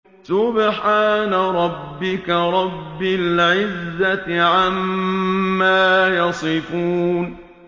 سُبْحَانَ رَبِّكَ رَبِّ الْعِزَّةِ عَمَّا يَصِفُونَ